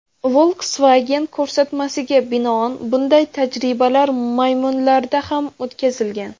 Volkswagen ko‘rsatmasiga binoan bunday tajribalar maymunlarda ham o‘tkazilgan.